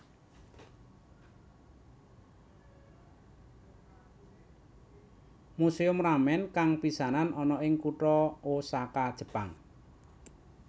Museum Ramen kang pisanan ana ing kutha Osaka Jepang